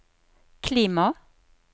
klima